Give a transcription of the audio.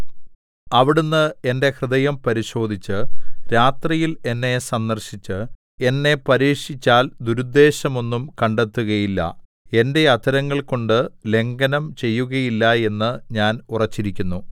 അവിടുന്ന് എന്റെ ഹൃദയം പരിശോധിച്ചു രാത്രിയിൽ എന്നെ സന്ദർശിച്ചു എന്നെ പരീക്ഷിച്ചാൽ ദുരുദ്ദേശമൊന്നും കണ്ടെത്തുകയില്ല എന്റെ അധരങ്ങൾ കൊണ്ട് ലംഘനം ചെയ്യുകയില്ല എന്ന് ഞാൻ ഉറച്ചിരിക്കുന്നു